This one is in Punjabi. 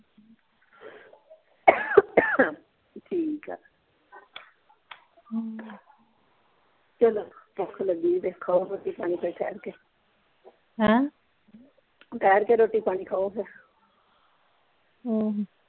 ਠੀਕ ਆ ਹਮ ਚਲੋ ਭੁੱਖ ਲੱਗੀ ਏ ਤੇ ਖਾਓ ਰੋਟੀ ਪਾਣੀ ਫੇਰ ਠਹਿਰ ਕੇ ਹੈਂ ਠਹਿਰ ਕੇ ਰੋਟੀ ਪਾਣੀ ਖਾਓ ਫੇਰ ਹਮ